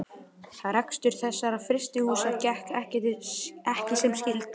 Rekstur þessara frystihúsa gekk ekki sem skyldi.